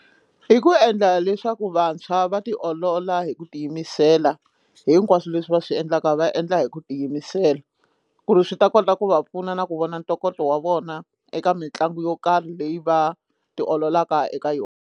I ku endla leswaku vantshwa va tiolola hi ku tiyimisela hinkwaswo leswi va swi endlaka va endla hi ku tiyimisela ku ri swi ta kota ku va pfuna na ku vona ntokoto wa vona eka mitlangu yo karhi leyi va ti ololaka eka yona.